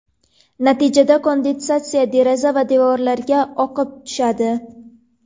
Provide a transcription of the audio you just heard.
Natijada kondensatsiya deraza va devorlarga oqib tushadi.